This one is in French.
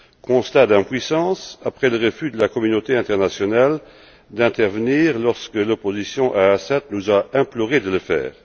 Constat d'impuissance, après le refus de la communauté internationale d'intervenir lorsque l'opposition à Assad nous a implorés de le faire.